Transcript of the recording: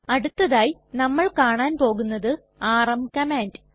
അടുത്തതായി നമ്മൾ കാണാൻ പോകുന്നത് ആർഎം കമാൻഡ്